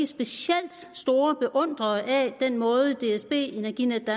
specielt store beundrere af den måde som dsb energinetdk